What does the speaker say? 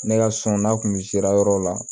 Ne ka sɔn n'a kun sera yɔrɔw la